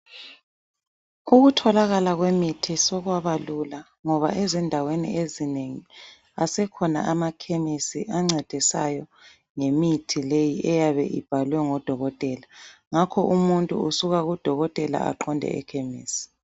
Ukutholakala kwemithi sokwaba lula. Ngoba ezindaweni ezinengi asekhona amakhemisi ancedisayo ngemithi leyi eyabe ibhalwe ngudokotela. Ngakho umuntu usuka kudokotela aqonde ekhemisi.